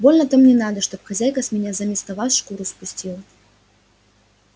больно-то мне надо чтоб хозяйка с меня заместо вас шкуру спустила